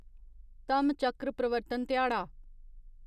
धम्मचक्र प्रवर्तन ध्याड़ा